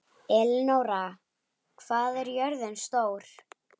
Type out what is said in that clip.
Elenóra, hvað er jörðin stór?